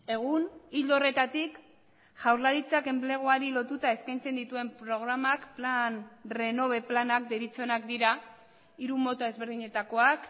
egun ildo horretatik jaurlaritzak enpleguari lotuta eskaintzen dituen programak plan renove planak deritzonak dira hiru mota ezberdinetakoak